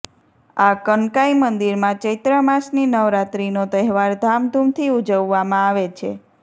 આ કનકાઈ મંદિરમાં ચૈત્ર માસની નવરાત્રીનો તહેવાર ધામ ધુમથી ઉજવવામાં આવે છે